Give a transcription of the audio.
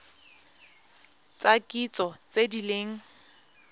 tsa kitso tse di leng